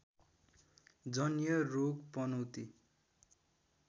जन्य रोग पनौती